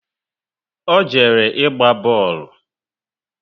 O jere ịgba boolu